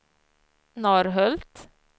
Norrhult